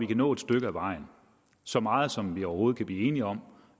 nå et stykke ad vejen så meget som vi overhovedet kan blive enige om